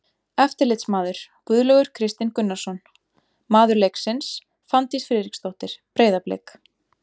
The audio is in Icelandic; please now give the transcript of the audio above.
Eftirlitsmaður: Guðlaugur Kristinn Gunnarsson Maður leiksins: Fanndís Friðriksdóttir, Breiðablik.